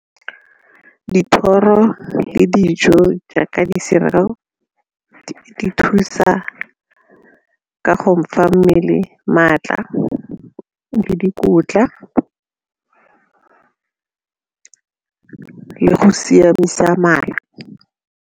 Dithoro le dijo jaaka di-cereal di thusa ka go fa mmele maatla le dikotla le go siamisa mala.